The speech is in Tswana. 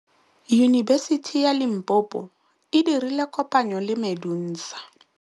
Yunibesiti ya Limpopo e dirile kopanyô le MEDUNSA.